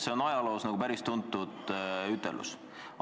See on ajaloos päris tuntud ütlus.